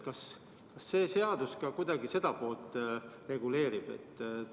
Kas see seaduseelnõu ka kuidagi seda poolt reguleerib?